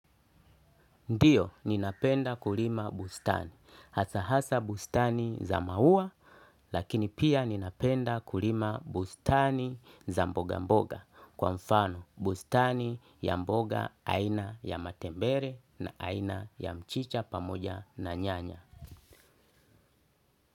Ndio, ninapenda kulima bustani. Hasa hasa bustani za maua, lakini pia ninapenda kulima bustani za mboga mboga. Kwa mfano, bustani ya mboga aina ya matembere na aina ya mchicha pamoja na nyanya.